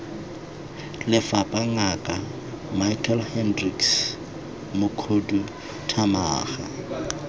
lefapha ngaka michael hendricks mokhuduthamaga